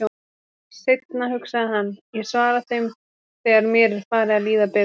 Seinna, hugsaði hann, ég svara þeim þegar mér er farið að líða betur.